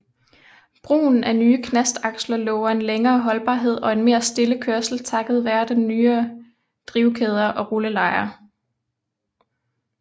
Brugen af nye knastaksler lover en længere holdbarhed og en mere stille kørsel takket være nyere drivkæder og rullelejer